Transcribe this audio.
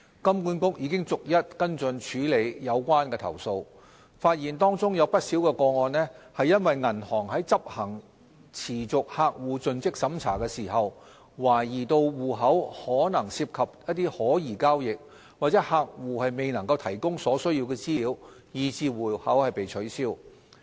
金管局已逐一跟進處理有關的投訴，發現當中不少個案是因為銀行在執行持續客戶盡職審查時，懷疑戶口可能涉及可疑交易或客戶未能提供所須資料，以致戶口被取消。